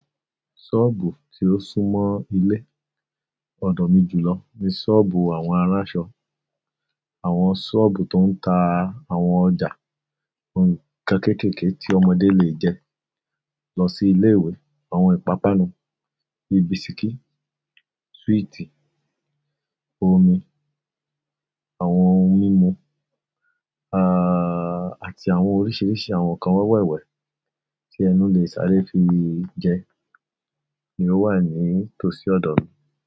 Ṣọ́ọ̀bù tí ó sún mọ́ ilé ọ̀dọ̀ mi jùlọ ni ṣọ́ọ̀bù àwọn aránṣọ. Àwọn ṣọ́ọ̀bù tó ń ta àwọn ọjà, ohun kan kéékèèké tí ọmọdé lè jẹ, lọ sí ilé ìwé, àwọn ìpápánu bíi bisikí, súwìtì, omi, àwọn ohun mímu, aà àti àwọn oríṣìíríṣìí àwọn nǹkan wẹ́wẹ́ wẹ́wẹ́ tí ẹnu lè sáré fi jẹ ni ó wà ní tòsí ọ̀dọ̀ mi.